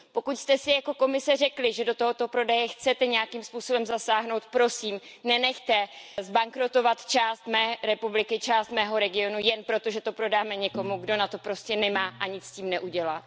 Pokud jste si jako Komise řekli, že do tohoto prodeje chcete nějakým způsobem zasáhnout, prosím, nenechte zbankrotovat část mé republiky, část mého regionu, jen proto, že to prodáme někomu, kdo na to prostě nemá a nic s tím neudělá.